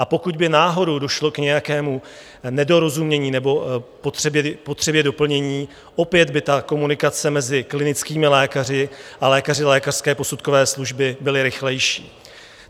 A pokud by náhodou došlo k nějakému nedorozumění nebo potřebě doplnění, opět by ta komunikace mezi klinickými lékaři a lékaři lékařské posudkové služby byla rychlejší.